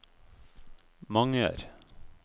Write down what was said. Manger